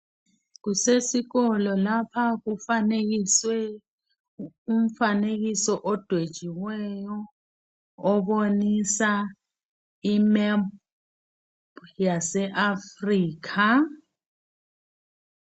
Kusesikolo lapha kufanekiswe umfanekiso odwetshiweyo obonisa imephu yase Africa.